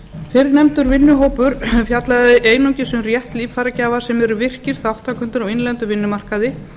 fyrrnefndur vinnuhópur fjallaði einungis um rétt líffæragjafa sem eru virkir þátttakendur á innlendum vinnumarkaði